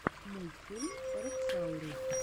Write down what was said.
мультик роксаурус